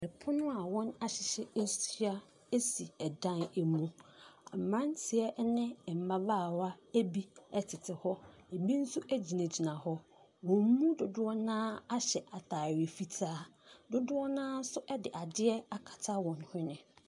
3pono a w)nahyehye ahyia asi 3dan amu , mmratie 3ne mmabaawa Abi 3tete h), ebi nso agyinagyina h) ,w)n mu dodo) na ara ahy3 ataare fitaa , dodo) na ara nso 3de ade3 akata w)n hwene.